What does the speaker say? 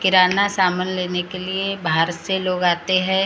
किराना सामान लेने के लिए बाहर से लोग आते हैं और।